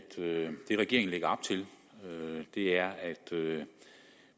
det regeringen lægger op til er at